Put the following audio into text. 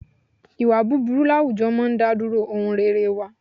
Ìwà búburú láwùjọ máa ń ìdádúró ohun rere wá.